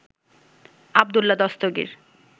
Abdullah Dastagir